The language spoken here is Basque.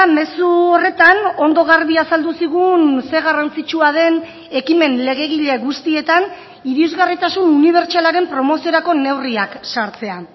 mezu horretan ondo garbi azaldu zigun ze garrantzitsua den ekimen legegile guztietan irisgarritasun unibertsalaren promoziorako neurriak sartzea